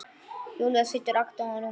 Júlía situr agndofa á rúminu.